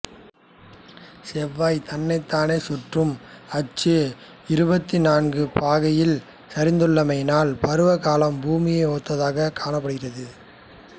செவ்வாய் தன்னைத்தானே சுற்றும் அச்சு இருபத்து நான்கு பாகையில் சரிந்துள்ளமையினால் பருவகாலம் புவியை ஒத்ததாகவே காணப்படுகிறது